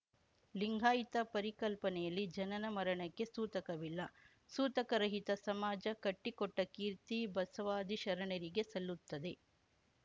ಲಿಂಗಾಯಿತ ಪರಿಕಲ್ಪನೆಯಲ್ಲಿ ಜನನ ಮರಣಕ್ಕೆ ಸೂತಕವಿಲ್ಲ ಸೂತಕ ರಹಿತ ಸಮಾಜ ಕಟ್ಟಿಕೊಟ್ಟಕೀರ್ತಿ ಬಸವಾದಿಶರಣರಿಗೆ ಸಲ್ಲುತ್ತದೆ